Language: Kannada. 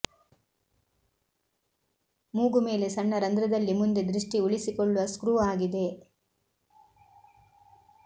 ಮೂಗು ಮೇಲೆ ಸಣ್ಣ ರಂಧ್ರದಲ್ಲಿ ಮುಂದೆ ದೃಷ್ಟಿ ಉಳಿಸಿಕೊಳ್ಳುವ ಸ್ಕ್ರೂ ಆಗಿದೆ